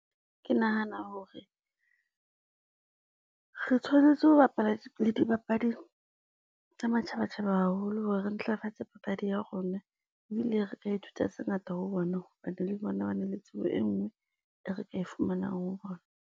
Ke nahana hore, re tshwanetse ho bapala dipapadi tsa matjhabatjhaba haholo hore re ntlafatse papadi ya rona. Ebile re ka ithuta tse ngata ho bona hobane le bona ba na le tsebo e nngwe e re ka e fumanang ho bona.